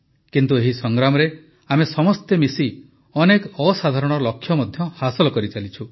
କିନ୍ତୁ ଏହି ସଂଗ୍ରାମରେ ଆମେ ସମସ୍ତେ ମିଶି ଅନେକ ଅସାଧାରଣ ଲକ୍ଷ୍ୟ ମଧ୍ୟ ହାସଲ କରିଚାଲିଛୁ